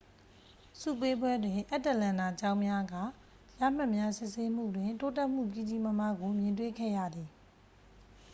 ဆုပေးပွဲတွင် အတ္တလန်နာကျောင်းများက ရမှတ်များစစ်ဆေးမှုတွင် တိုးတက်မှုကြီးကြီးမားမားကို မြင်တွေ့ခဲ့ရသည်